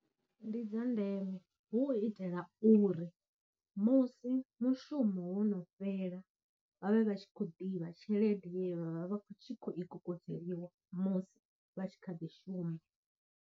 Ndi dza ndeme hu u itela uri musi mushumo wono fhela vha vhe vha tshi khou ḓivha tshelede ye vha vha vha khou tshi khou i kokodzeliwa musi vha tshi kha ḓi shuma.